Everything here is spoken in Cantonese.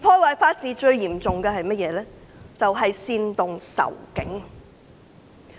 對法治造成最嚴重破壞的是煽動仇警。